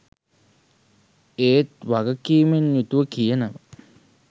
ඒත් වගකිමෙන් යුතුව කියනවා